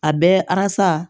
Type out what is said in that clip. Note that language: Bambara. A bɛɛ alasa